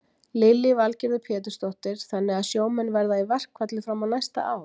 Lillý Valgerður Pétursdóttir: Þannig að sjómenn verða í verkfalli fram á næsta ár?